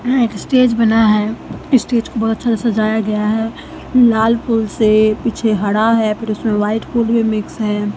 यहां एक स्टेज बना है स्टेज को बहोत अच्छा से सजाया गया है लाल फूल से पीछे हरा है फिर उसमें व्हाइट फूल भी मिक्स है।